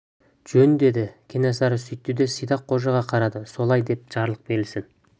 жөн деді кенесары сөйтті де сидақ қожаға қарады солай деп жарлық берілсін